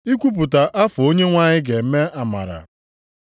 Ikwupụta afọ Onyenwe anyị ga-eme amara.” + 4:19 \+xt Aịz 61:1,2\+xt*